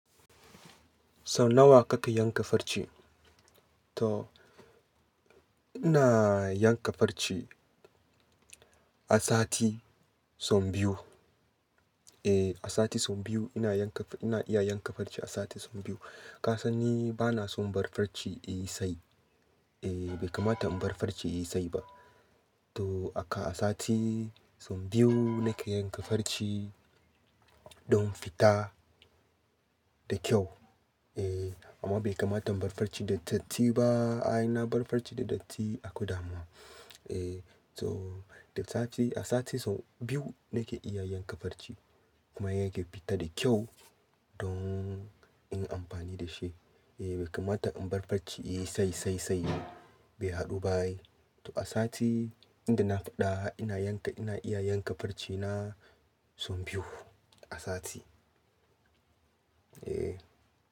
Sau nawa kake yanka farce? To ina yanka farce, a sati sau biyu. Eh, a sati sau biyu ina yanka ina iya yanka farce a sati sau biyu. Ka san ni bana son bar farce yi tsayi. Eh bai kamata in bar farce yai tsayi ba. To aka a sati sau biyu nake yanka farce don fita da kyau. Eh amma bai kamata in bar farce da datti ba. Ai na bar farce da datti akwai damuwa. Eh to da sati a sati sau biyu nake iya yanka farce kuma ya ke fita da kyau, don in yi amfani da shi. Eh bai kamata in bar farce yayi tsayi-tsayi ba, bai haɗu ba ai. To a sati inda na faɗa ina yanka ina iya yanka farce na sau biyu a sati. Eh.